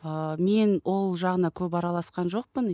ыыы мен ол жағына көп араласқан жоқпын